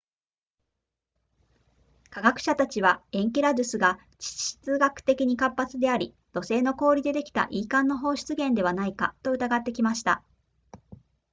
科学者たちはエンケラドゥスが地質学的に活発であり土星の氷でできた e 環の放出源ではないかと疑ってきました